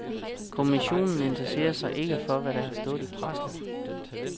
Kommissionen interesserer sig ikke for hvad der har stået i pressen.